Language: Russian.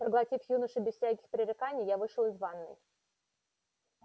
проглотив юношу без всяких пререканий я вышел из ванной